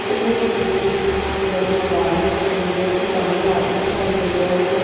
ਇਹ ਤਸਵੀਰ ਇੱਕ ਬਹੁਤ ਵੱਡੇ ਮੈਦਾਨ ਦੀ ਤਸਵੀਰ ਹੈ ਇੱਕ ਸਾਹਮਣੇ ਆਦਮੀ ਦਿਖਾਈ ਦੇ ਰਿਹਾ ਹੈ ਇੱਕ --